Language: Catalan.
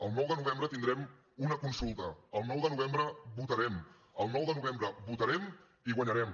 el nou de novembre tindrem una consulta el nou de novembre votarem el nou de novembre votarem i guanyarem